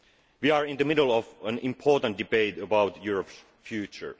We are in the middle of an important debate about Europe's future.